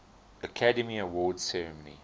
academy awards ceremony